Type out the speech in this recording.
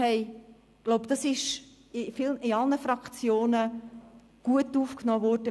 Ich glaube, das ist von allen Fraktionen gut aufgenommen worden.